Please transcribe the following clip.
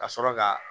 Ka sɔrɔ ka